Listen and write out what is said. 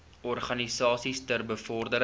organisasies ter bevordering